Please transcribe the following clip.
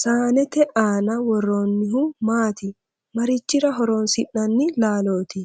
Saanete aanna woroonnihu maati? Marichira horoonsi'nanni laalloti?